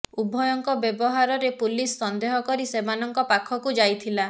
ଉଭୟଙ୍କ ବ୍ୟବହାରରେ ପୁଲିସ ସନ୍ଦେହ କରି ସେମାନଙ୍କ ପାଖକୁ ଯାଇଥିଲା